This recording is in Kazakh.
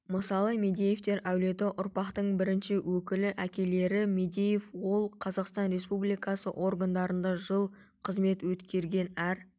мысалы мадеевтер әулеті ұрпақтың бірінші өкілі әкелері мадеев ол қазақстан республикасы органдарында жыл қызмет өткерген әр